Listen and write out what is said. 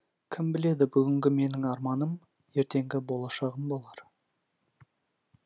кім біледі бүгінгі менің арманым ертеңгі болашағым болар